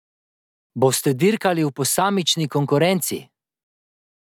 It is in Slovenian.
Boste dirkali v posamični konkurenci?